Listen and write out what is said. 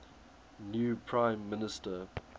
new prime minister